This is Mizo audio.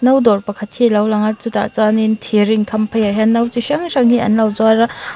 no dawr pakhat hi a lo lang a chutah chuanin thir inkham phei ah hian no chi hrang hrang hi an lo zuar a.